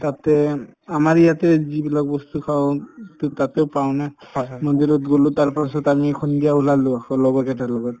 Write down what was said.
তাতে উম আমাৰ ইয়াতে যিবিলাক বস্তু খাওঁ উব to তাতেও পাওঁ নে মন্দিৰত গলো তাৰপাছত আমি সন্ধিয়া ওলালো লগৰ কেইটাৰ লগত